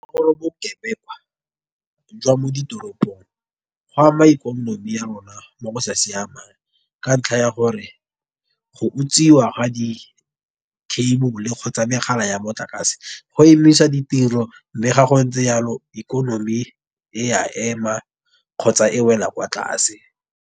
Bokebekwa jwa mo ditoropong go ama ikonomi ya rona mo go sa siamang. Ka ntlha ya gore go utswiwa ga di cable kgotsa megala ya motlakase, go emisa ditiro. Mme ga go ntse yalo ikonomi e a ema kgotsa e wela kwa tlase.